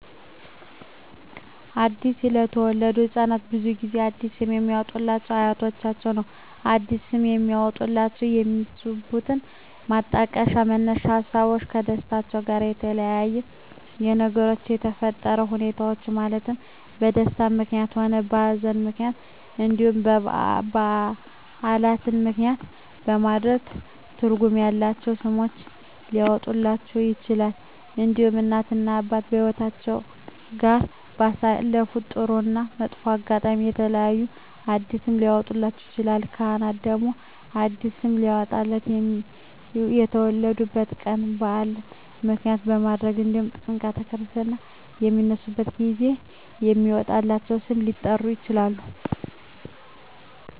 አዲስ ለተወለዱ ህፃናት ብዙውን ጊዜ አዲስ ስም የሚያወጡሏቸው አያቶቻቸውን ነው አዲስ ስም የሚያወጧላቸው የሚነሱበት ማጣቀሻ መነሻ ሀሳቦች ከደስታቸው ጋር በተያያዘ በነገሮች በተፈጠረ ሁኔታዎች ማለትም በደስታም ምክንያትም ሆነ በሀዘንም ምክንያት እንዲሁም በዓላትን ምክንያትም በማድረግ ትርጉም ያላቸው ስሞች ሊያወጡላቸው ይችላሉ። እንዲሁም እናት እና አባት ከህይወትአቸው ጋር ባሳለፉት ጥሩ እና መጥፎ አጋጣሚ በተያያዘ አዲስ ስም ሊያወጡላቸው ይችላሉ። ካህናት ደግሞ አዲስ ስም ሊያወጡላቸው የሚወለዱበት ቀን በዓል ምክንያት በማድረግ እንዲሁም ጥምረተ ክርስትና በሚነሱበት ጊዜ በሚወጣላቸው ስም ሊጠሩ ይችላሉ።